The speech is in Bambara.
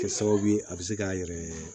Kɛ sababu ye a bɛ se k'a yɛrɛ